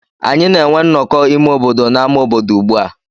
Anyị na-enwe nnọkọ ime obodo n'ámá obodo ugbu a.